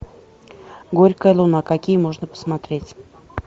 горькая луна какие можно посмотреть